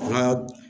An ka